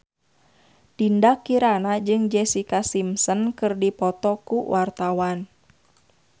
Dinda Kirana jeung Jessica Simpson keur dipoto ku wartawan